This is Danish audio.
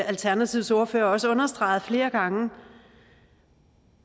alternativets ordfører også understreget flere gange